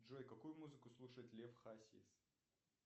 джой какую музыку слушает лев хасис